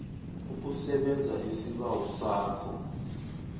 ukusebenza isibawo sakho